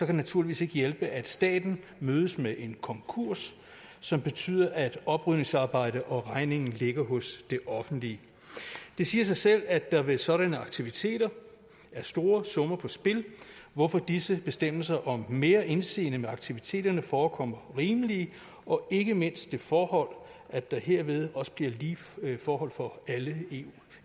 det naturligvis ikke hjælpe at staten mødes med en konkurs som betyder at oprydningsarbejdet og regningen ligger hos det offentlige det siger sig selv at der ved sådanne aktiviteter er store summer på spil hvorfor disse bestemmelser om mere indseende i aktiviteterne forekommer rimelige og ikke mindst det forhold at der herved også bliver lige forhold for alle